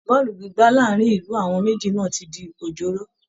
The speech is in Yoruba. Bọ́ọ̀lù gbígbá láàárín ìlú àwọn méjì náà ti di òjóró